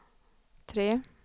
tre